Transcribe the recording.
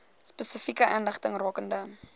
spesifieke inligting rakende